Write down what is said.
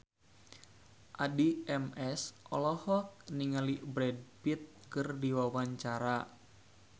Addie MS olohok ningali Brad Pitt keur diwawancara